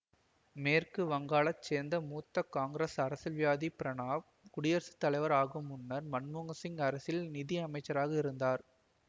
மேற்கு வங்காளச் சேர்ந்த மூத்த காங்கிரசு அரசியல்வாதியான பிரணப் குடியரசு தலைவர் ஆகும் முன்னர் மன்மோகன் சிங் அரசில் நிதி அமைச்சர் ஆக இருந்தார்